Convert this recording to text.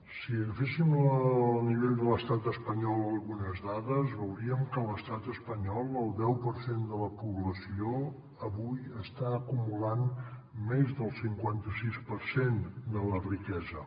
si agaféssim al nivell de l’estat espanyol algunes dades veuríem que a l’estat espanyol el deu per cent de la població avui està acumulant més del cinquanta sis per cent de la riquesa